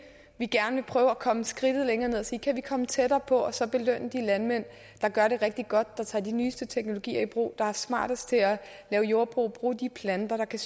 vi gerne vil prøve at komme skridtet længere ned til og sige kan vi komme tættere på og så belønne de landmænd der gør det rigtig godt der tager de nyeste teknologier i brug der er smartest til at lave jordbrug og bruge de planter der kan